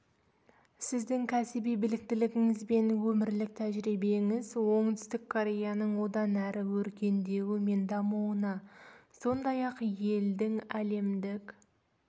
сіздің кәсіби біліктілігіңіз бен өмірлік тәжірибеңіз оңтүстік кореяның одан әрі өркендеуі мен дамуына сондай-ақ елдің әлемдік